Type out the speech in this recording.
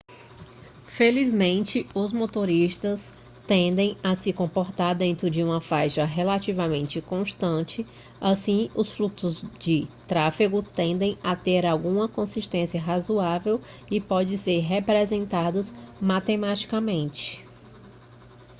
felizmente os motoristas tendem a se comportar dentro de uma faixa relativamente consistente assim os fluxos de tráfego tendem a ter alguma consistência razoável e podem ser representados matematicamente